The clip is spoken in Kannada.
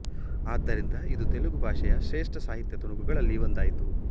ಆದ್ದರಿಂದ ಇದು ತೆಲುಗು ಭಾಷೆಯ ಶ್ರೇಷ್ಠ ಸಾಹಿತ್ಯ ತುಣುಕುಗಳಲ್ಲ್ಲಿ ಒಂದಾಯಿತು